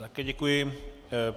Také děkuji.